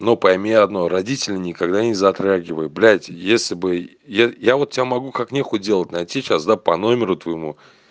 ну пойми одно родители никогда не затрагивают блядь если бы я вот я могу как не хуй делать найти сейчас по номеру твоему